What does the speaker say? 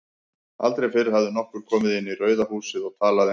Aldrei fyrr hafði nokkur komið inn í Rauða húsið og talað einsog